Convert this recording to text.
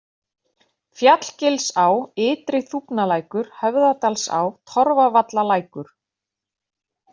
Fjallgilsá, Ytri-Þúfnalækur, Höfðadalsá, Torfavallalækur